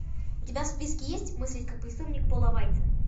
у тебя в списке есть мыслить как преступник пола вайца